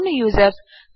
అవును యూజర్స్